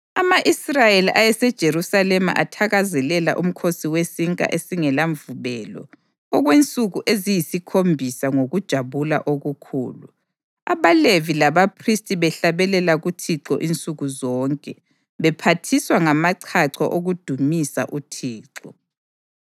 Ama-Israyeli ayeseJerusalema athakazelela uMkhosi weSinkwa esingelaMvubelo okwensuku eziyisikhombisa ngokujabula okukhulu, abaLevi labaphristi behlabelela kuThixo insuku zonke, bephathiswa ngamachacho okudumisa uThixo.